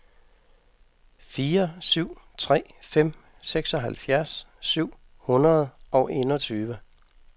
fire syv tre fem seksoghalvfjerds syv hundrede og enogtyve